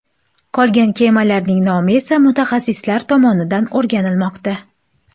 Qolgan kemalarning nomi esa mutaxassislar tomonidan o‘rganilmoqda.